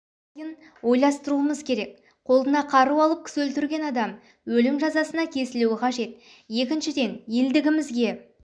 сына қағатын зұлымдықтардың ымырасыз жолын кесуіміз қажет ел тыныштығын сақтамасақ мынадай әлемдік дағдарыстан өте алмаймыз